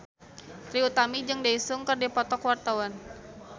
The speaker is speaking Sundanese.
Trie Utami jeung Daesung keur dipoto ku wartawan